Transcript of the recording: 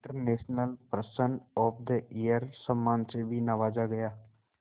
international person of the year सम्मान से भी नवाजा गया